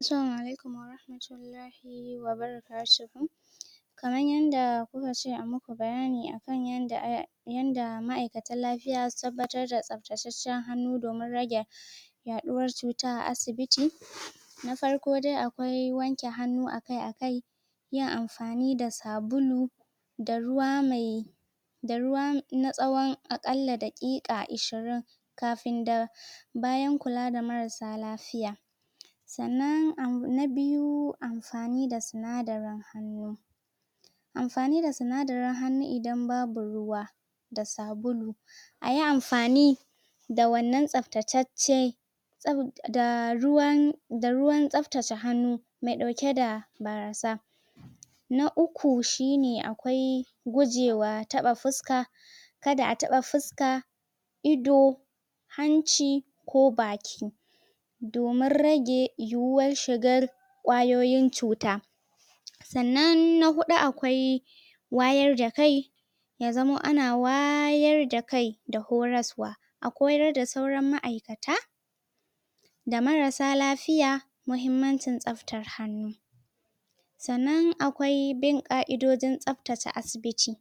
Assalama alaikum wahmatullahi wa barakatuhu" Kamar yadda kuka ce ayi maku bayani akan yanda Yanda ma'aikatan lafiya suke dabbatar da tsabtacacen hannu domin rage Yaduwar cuta a asibiti Na farko dai akwai wanke hannu akai-akai Yin amfani da sabulu Da ruwa mai Da ruwa na tsawon aƙalla daƙiƙa Ishirin Kafin na Bayan kula da mararsa lafiya Sannan abu na biyu Amfani da sunadarin hannu Amfani da sunadarin hannu idan babu ruwa Da sabulu Ayi amfani Da wannan tsaftataccen Da ruwan Da ruwan tsaftace hannu Mai dauke da Barasa Na uku shine akwai Gujewa taba fuska Kada a taba fuska Ido Hanci Ko baki Domin rage yiwar shigar kwayoyin cuta Sannan na hudu akwai Wayar da kai Ya zama ana wayar da kai Da horaswa A koyar da sauran ma'aikata Da marassa lafiya Mahimmancin tsaftar hannu Sannan akwai bin ƙa'idojinTsaftace asibiti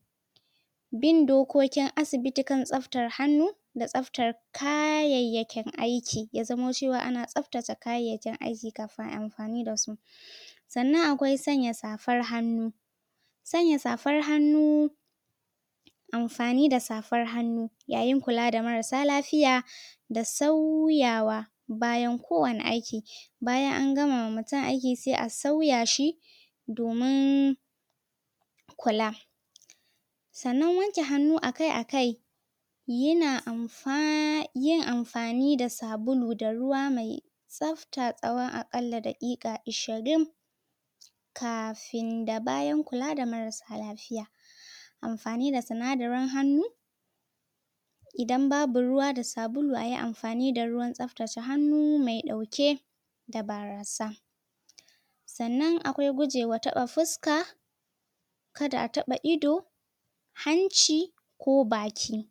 Bin dokokin asibiti kan tsaftar hannu Da tsaftar Kayayyakin aiki ya zama cewa ana tsaftace kayayakin aiki kafin ayi amfani dasu Sannan akwai sanya safar hannu Sanya safar hannu Amfani da safar hannu Yayin kula da marassa lafiya Da canza wa Bayan kowane aiki Bayan an gama ma mutum aiki sai a sauya shi Domin Kula Sannan wanke hannu akai-akai Yana amfani, Yin amfani da sabulu da ruwa mai Tsafta tsawon aƙalla daƙiƙa Ishirin Kafin da bayan kula da marassa lafiya Amfani da sinadarin hannu Idan babu ruwa da sabulu ayi amfani da ruwan tsaftace hannu mai dauke Da barasa Sannan akwai guje taba fuska Kada a taba ido Hanci Ko baki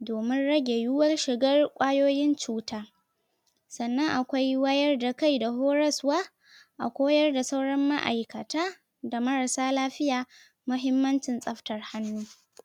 Domin rage yiwar shigar kwayoyin cuta Sannan akwaiwayar da kai da horaswa A koyar da sauran ma'ikata Da marassa lafiya Mahimmancin tsaftar hannu